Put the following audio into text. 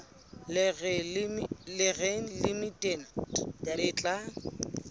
le reng limited le tla